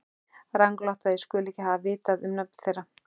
Ranglátt að ég skuli ekki hafa vitað um nöfn þeirra.